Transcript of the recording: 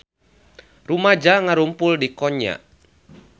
Rumaja ngarumpul di Konya